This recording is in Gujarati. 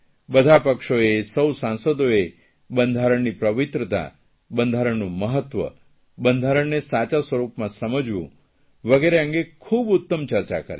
બધા પક્ષોએ સૌ સાંસદોએ બંધારણની પવિત્રતા બંધારણનું મહત્વ બંધારણને સાચા સ્વરૂપમાં સમજવું વગેરે અંગે ખૂબ ઉત્તમ ચર્ચા કરી